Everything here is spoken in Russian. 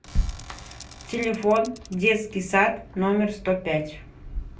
телефон детский сад номер сто пять